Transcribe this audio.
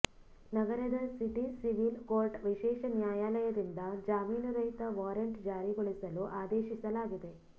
ನಗರದ city civil court ವಿಶೇಷ ನ್ಯಾಯಾಲಯದಿಂದ ಜಾಮೀನು ರಹಿತ ವಾರೆಂಟ್ ಜಾರಿಗೊಳಿಸಲು ಆದೇಶಿಸಲಾಗಿದೆ